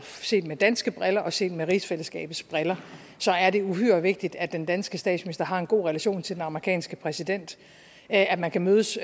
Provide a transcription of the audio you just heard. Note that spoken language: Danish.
set med danske briller og set med rigsfællesskabets briller er uhyre vigtigt at den danske statsminister har en god relation til den amerikanske præsident at at man kan mødes